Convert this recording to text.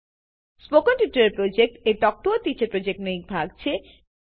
spoken tutorial project talk to a teacher પ્રોજેક્ટનો એક ભાગ છે